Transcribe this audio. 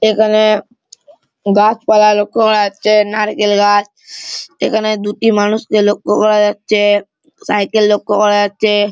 এখানে - এ গাছপালা লক্ষ্য করা যাচ্ছে - এ নারকেল গাছ এখানে দুটি মানুষকে লক্ষ্য করা যাচ্ছে - এ সাইকেল লক্ষ্য করা যাচ্ছে - এ।